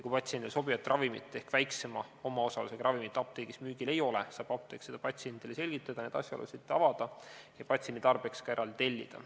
Kui patsiendile sobivat ravimit ehk väiksema omaosalusega ravimit apteegis müügil ei ole, saab apteek seda patsiendile selgitada ja neid asjaolusid avada ning ka patsiendi tarbeks eraldi tellida.